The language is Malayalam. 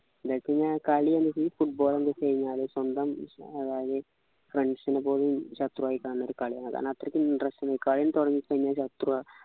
ഇല്ലേപിന്നെ കളി ന്നു football എന്ത് വെച്ച് കഴിഞ്ഞാല് സ്വന്തം സ football നെപ്പോലും ശത്രുവായി കാണുന്ന ഒരു കളിയാ അതാണ് അത്രക്ക് interesting കളിയൊന്നു തുടങ്ങിക്കഴിഞ്ഞാൽ ശത്രുവ